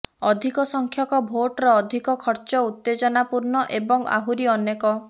ଅଧିକ ସଂଖ୍ୟକ ଭୋଟର ଅଧିକ ଖର୍ଚ ଉତ୍ତେଜନାପୂର୍ଣ୍ଣ ଏବଂ ଆହୁରି ଅନେକ